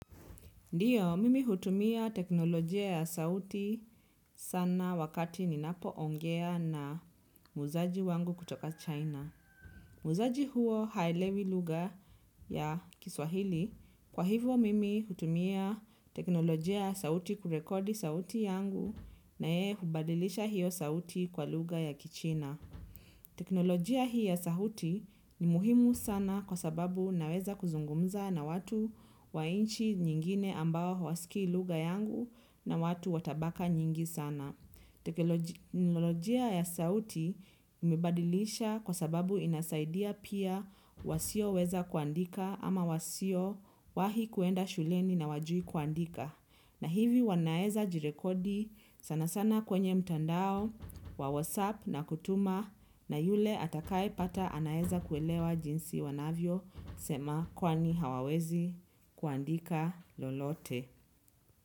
Ndiyo, mimi hutumia teknolojia ya sauti sana wakati ninapo ongea na muuzaji wangu kutoka China. Muuzaji huo haelewi lugha ya kiswahili. Kwa hivyo, mimi hutumia teknolojia ya sauti kurekodi sauti yangu na yeye hubadilisha hiyo sauti kwa lugha ya kichina. Teknolojia hii ya sauti ni muhimu sana kwa sababu naweza kuzungumza na watu wa nchi nyingine ambao hawasikii lugha yangu na watu watabaka nyingi sana. Teknolojia ya sauti imebadilisha kwa sababu inasaidia pia wasio weza kuandika ama wasio wahi kuenda shuleni na hawajui kuandika. Na hivi wanaeza jirekodi sana sana kwenye mtandao wa whatsapp na kutuma na yule atakae pata anaeza kuelewa jinsi wanavyo sema kwani hawawezi kuandika lolote.